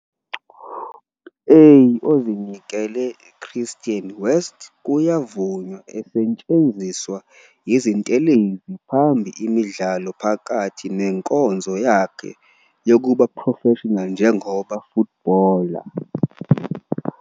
A ozinikele Christian, West Kuyavunywa esetshenziswa izintelezi phambi imidlalo phakathi nenkonzo yakhe yokuba professional njengoba footballer.